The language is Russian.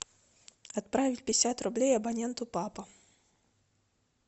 отправить пятьдесят рублей абоненту папа